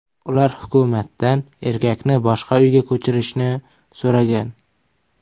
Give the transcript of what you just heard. Ular hukumatdan erkakni boshqa uyga ko‘chirishni so‘ragan.